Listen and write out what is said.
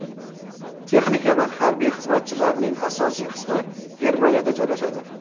Texnika va harbiy xizmatchilarning asosiy qismi Germaniyada joylashadi.